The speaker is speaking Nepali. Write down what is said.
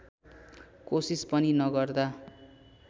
कोसिस पनि नगर्दा